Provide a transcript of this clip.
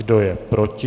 Kdo je proti?